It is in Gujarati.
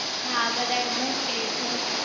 હા બધા એમજ કે છે